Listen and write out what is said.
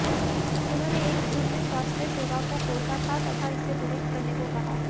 उन्होंने एक सुर में स्वास्थ्य सेवाओं को कोसा तथा इसे दुरुस्त करने को कहा